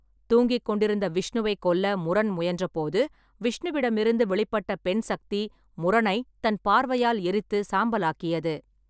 தூங்கிக் கொண்டிருந்த விஷ்ணுவைக் கொல்ல முரன் முயன்றபோது, விஷ்ணுவிடமிருந்து வெளிப்பட்ட பெண் சக்தி முரணைத் தன் பார்வையால் எரித்து சாம்பலாக்கியது.